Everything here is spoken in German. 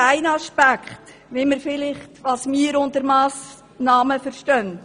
Nur ein Aspekt dessen, was wir unter Massnahmen verstehen.